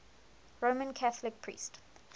roman catholic priest